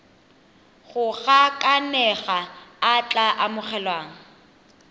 go gakanega a tla amogelwang